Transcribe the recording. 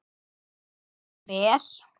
Og var það vel.